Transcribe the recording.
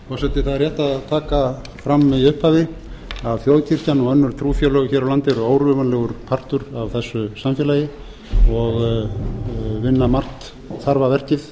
forseti það er rétt að taka fram í upphafi að þjóðkirkjan og önnur trúfélög hér á landi eru órjúfanlegur partur af þessu samfélagi og vinna margt þarfa verkið